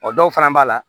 O dɔw fana b'a la